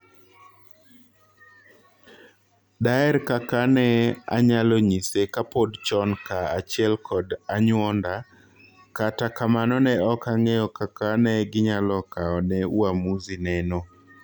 "Daher kaka ne anyalonyise kapod chon kaa achiel kod anyuonda, kata kamano ne ok ang'eyo kaka ne ginyalo kaone uamuzi nano."